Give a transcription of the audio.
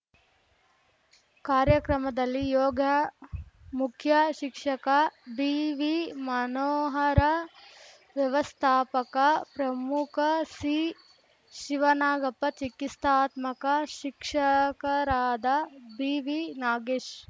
ಕಾರ್ಯಕ್ರಮದಲ್ಲಿ ಯೋಗ ಮುಖ್ಯ ಶಿಕ್ಷಕ ಬಿವಿ ಮನೋಹರ ವ್ಯವಸ್ಥಾಪಕ ಪ್ರಮುಖ ಸಿಶಿವನಾಗಪ್ಪ ಚಿಕಿಸ್ತಾತ್ಮಕ ಶಿಕ್ಷಕರಾದ ಬಿವಿ ನಾಗೇಶ್‌